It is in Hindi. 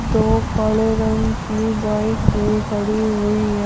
दो काले रंग की बाइक भी खड़ी हुई है।